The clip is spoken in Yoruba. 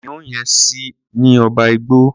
Kìnìún yẹn ṣì ni ọba igbó.